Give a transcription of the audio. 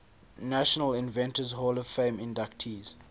national inventors hall of fame inductees